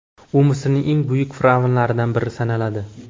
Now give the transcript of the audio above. U Misrning eng buyuk fir’avnlaridan biri sanaladi.